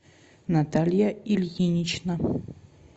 наталья ильинична